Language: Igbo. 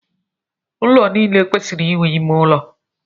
Ụlọ niile kwesịrị inwe ime ụlọ.